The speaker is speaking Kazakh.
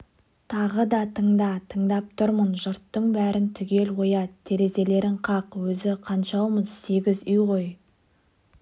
тағы да тыңда тыңдап тұрмын жұрттың бәрін түгел оят терезелерін қақ өзі қаншаумыз сегіз үй ғой